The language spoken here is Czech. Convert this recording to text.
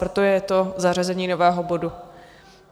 Proto je to zařazení nového bodu.